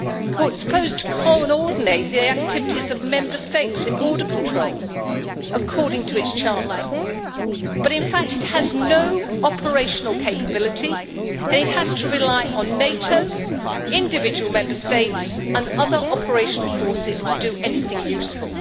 it is supposed to coordinate the activities of Member States in border control according to its charter, but in fact it has no operational capability, and it has to rely on NATO, individual Member States and other operational forces to do anything useful.